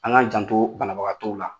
An ka janto banabagatɔw la